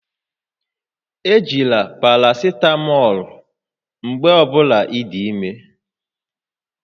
Ejila parasitamọọlụ mgbe ọ bụla ị dị ime